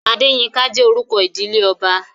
Adéyínká jẹ́ orúkọ ìdílé ọba